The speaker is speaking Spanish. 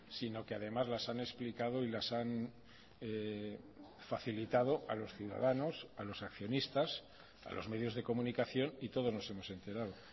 sino que además las han explicado y las han facilitado a los ciudadanos a los accionistas a los medios de comunicación y todos nos hemos enterado